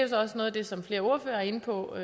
så også noget af det som flere ordførere er inde på